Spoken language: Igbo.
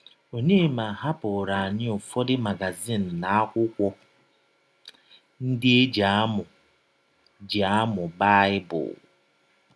Ọnyema hapụụrụ anyị ụfọdụ magazin na akwụkwọ ndị e ji amụ ji amụ Baịbụl.